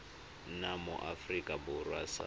nna mo aforika borwa sa